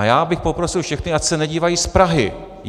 A já bych poprosil všechny, ať se nedívají z Prahy.